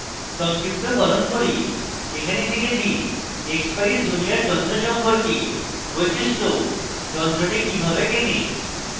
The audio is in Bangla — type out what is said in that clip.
সংক্ষিপ্তকরণ করি এখানে শিখেছি